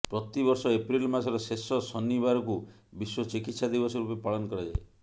ପ୍ରତି ବର୍ଷ ଏପ୍ରିଲ ମାସର ଶେଷ ଶନିବାରକୁ ବିଶ୍ୱ ଚିକିତ୍ସା ଦିବସ ରୂପେ ପାଳନ କରାଯାଏ